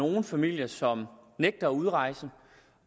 nogle familier som nægter at udrejse